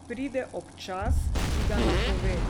Pride ob času, ki ga napove.